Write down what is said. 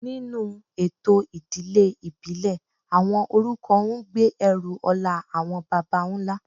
Nínú ètò ìdílé ìbílẹ̀, àwọn orúkọ ń gbé ẹrù ọlá àwọn baba ńlá